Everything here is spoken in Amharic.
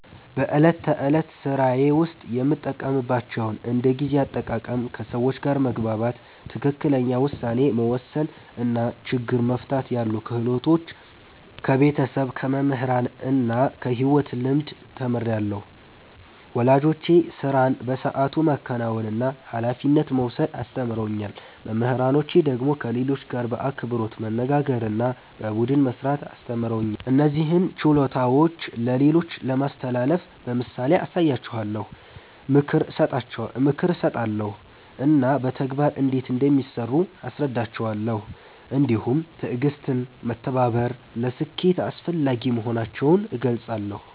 በዕለት ተዕለት ሥራዬ ውስጥ የምጠቀምባቸውን እንደ ጊዜ አጠቃቀም፣ ከሰዎች ጋር መግባባት፣ ትክክለኛ ውሳኔ መወሰን እና ችግር መፍታት ያሉ ክህሎቶች ከቤተሰብ፣ ከመምህራን እና ከሕይወት ልምድ ተምሬአለሁ። ወላጆቼ ሥራን በሰዓቱ ማከናወንና ኃላፊነት መውሰድ አስተምረውኛል። መምህራኖቼ ደግሞ ከሌሎች ጋር በአክብሮት መነጋገርና በቡድን መሥራት አስተምረውኛል። እነዚህን ችሎታዎች ለሌሎች ለማስተላለፍ በምሳሌ አሳያቸዋለሁ፣ ምክር እሰጣለሁ እና በተግባር እንዴት እንደሚሠሩ አስረዳቸዋለሁ። እንዲሁም ትዕግሥትና መተባበር ለስኬት አስፈላጊ መሆናቸውን እገልጻለሁ።